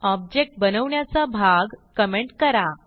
object बनवण्याचा भाग comment करा